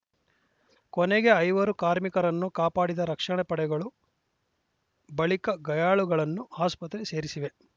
ಕೊನೆಗೆ ಐವರು ಕಾರ್ಮಿಕರನ್ನು ಕಾಪಾಡಿದ ರಕ್ಷಣಾ ಪಡೆಗಳು ಬಳಿಕ ಗಾಯಾಳುಗಳನ್ನು ಆಸ್ಪತ್ರೆ ಸೇರಿಸಿವೆ